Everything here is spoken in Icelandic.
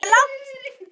Það var langt síðan.